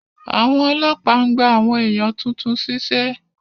Àwọn ọlọ́pàá ń gba àwọn èèyàn tuntun ṣíṣẹ́